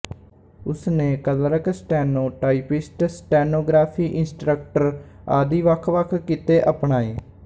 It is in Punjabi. ਉਸਨੇ clerk steno typist stenography instructor ਆਦਿ ਵੱਖ ਵੱਖ ਕਿੱਤੇ ਅਪਣਾਏ